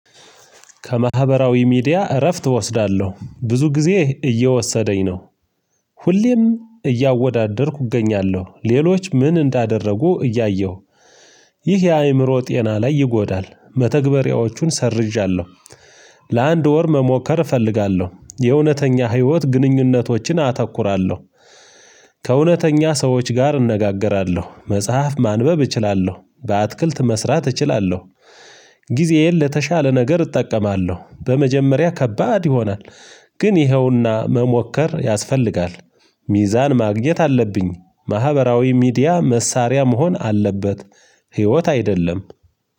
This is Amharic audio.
ከማህበራዊ ሚዲያ እረፍት እወስዳለሁ ብዙ ጊዜ እየወሰደኝ ነው ሁሌም እያወዳደርኩ እገኛለሁ ሌሎች ምን እንዳደረጉ እያየሁ። ይህ የአእምሮ ጤና ላይ ይጎዳል መተግበሪያዎቹን ሰርዣለሁ ለአንድ ወር መሞከር እፈልጋለሁ የእውነተኛ ህይወት ግንኙነቶችን አተኩራለሁ። ህ ከእውነተኛ ሰዎች ጋር እነጋገራለሁ መጽሐፍ ማንበብ እችላለሁ በአትክልት መስራት እችላለሁ። እህ ጊዜዬን ለተሻለ ነገር እጠቀማለሁ በመጀመሪያ ከባድ ይሆናል ግን ይኸውና መሞከር ያስፈልጋል። ሚዛን ማግኘት አለብኝ ማህበራዊ ሚዲያ መሳሪያ መሆን አለበት ህይወት አይደለም።